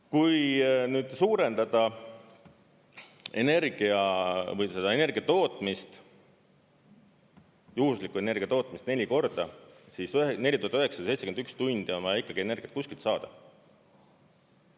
Kui nüüd suurendada energiatootmist, juhuslikku energiatootmist neli korda, siis 4971 tundi on ikkagi vaja energiat kuskilt saada.